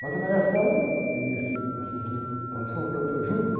Mas a era, e essas meninas... Elas foram presas juntas.